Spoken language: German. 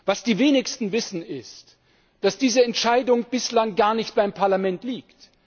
Was die wenigsten wissen, ist, dass diese Entscheidung bislang gar nicht beim Parlament liegt.